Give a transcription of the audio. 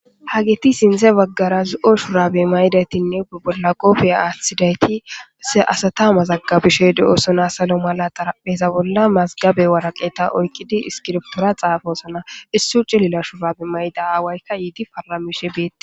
Haggeti sintha baggara zo'o shurabiya mayida etinne qoobiya atida eti asata mazagabanawu salo mera xarapheza bolla mazigaba woraqata oyiqqid isikibrtora xaafosona issoyi cililo shurabe mayida awayika yid paramishe beettes.